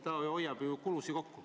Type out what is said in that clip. Nad ju hoiavad riigi kulusid kokku.